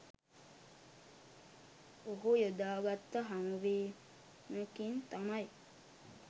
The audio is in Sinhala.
ඔහු යොදාගත්ත හමුවිමකින් තමයි